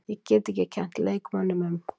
Ég get ekki kennt leikmönnunum um.